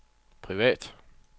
privat